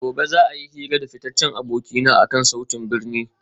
Gobe ​​za a yi hira da fitaccen abokina akan sautin birni